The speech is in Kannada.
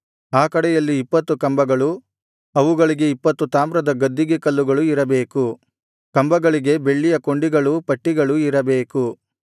ಆ ಕಡೆಯಲ್ಲಿ ಇಪ್ಪತ್ತು ಕಂಬಗಳು ಅವುಗಳಿಗೆ ಇಪ್ಪತ್ತು ತಾಮ್ರದ ಗದ್ದಿಗೆ ಕಲ್ಲುಗಳು ಇರಬೇಕು ಕಂಬಗಳಿಗೆ ಬೆಳ್ಳಿಯ ಕೊಂಡಿಗಳೂ ಪಟ್ಟಿಗಳೂ ಇರಬೇಕು